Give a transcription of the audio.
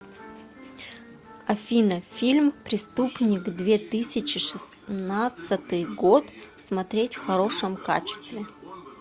афина фильм преступник две тысячи шестнадцатый год смотреть в хорошем качестве